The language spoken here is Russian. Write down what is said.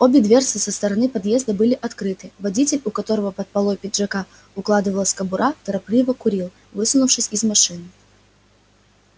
обе дверцы со стороны подъезда были открыты водитель у которого под полой пиджака укладывалась кобура торопливо курил высунувшись из машины